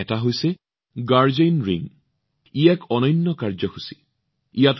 তাৰে এটা হৈছে গাৰ্ডিয়ান ৰিং এক অতি অনন্য কাৰ্যসূচী